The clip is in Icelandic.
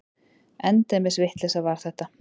Endemis vitleysa var þetta!